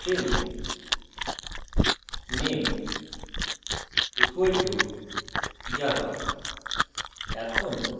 string name = java;